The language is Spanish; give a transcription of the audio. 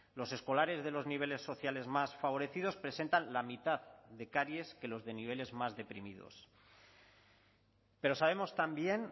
los escolares de los niveles sociales más favorecidos presentan la mitad de caries que los de niveles más deprimidos pero sabemos también